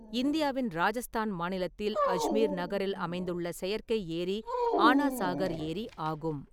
இந்தியாவின் ராஜஸ்தான் மாநிலத்தில் அஜ்மீர் நகரில் அமைந்துள்ள செயற்கை ஏரி ஆனா சாகர் ஏரி ஆகும்.